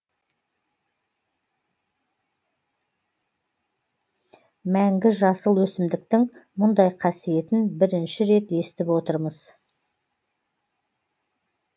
мәңгі жасыл өсімдіктің мұндай қасиетін бірінші рет естіп отырмыз